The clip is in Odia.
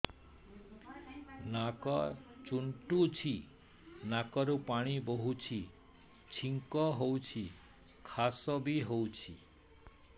ନାକ ଚୁଣ୍ଟୁଚି ନାକରୁ ପାଣି ବହୁଛି ଛିଙ୍କ ହଉଚି ଖାସ ବି ହଉଚି